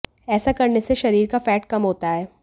ऐसा करने से शरीर का फैट कम होता है